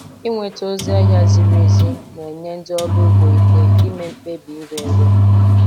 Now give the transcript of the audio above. Ịnweta ozi ahịa ziri ezi na-enye ndị ọrụ ugbo ike ime mkpebi ịre ere.